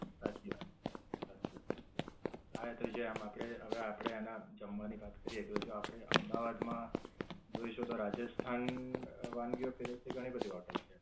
સાચી વાત છે. હા એ તો જેમ આપડે હવે આપડે એના જમવાની વાત કરીયે તો જો આપડે અમદાવાદ માં જોઈશું તો રાજસ્થાન વાનગીઓ પીરસતી ઘણી બધી હોટેલ છે.